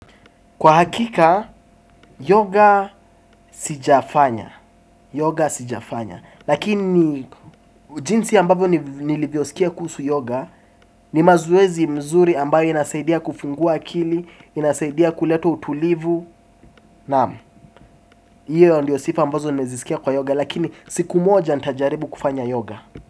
Kwa hakika, yoga sijafanya. Yoga sijafanya. Lakini jinsi ambavyo nilivyosikia kuhusu yoga ni mazoezi mzuri ambayo inasaidia kufingua akili. Inasaidia kuleta utulivu. Naam, iyo ndiyo sifa ambazo nimezisikia kwa yoga. Lakini siku moja nitajaribu kufanya yoga.